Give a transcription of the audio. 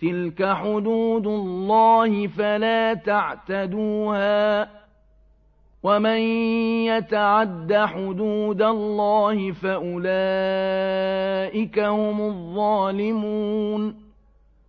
تِلْكَ حُدُودُ اللَّهِ فَلَا تَعْتَدُوهَا ۚ وَمَن يَتَعَدَّ حُدُودَ اللَّهِ فَأُولَٰئِكَ هُمُ الظَّالِمُونَ